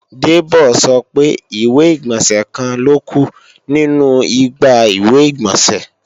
Debo sọ pé ìwé-ìgbọ̀nsẹ̀ kan ló kù nínu igbá ìwé-ìgbọ̀nsẹ̀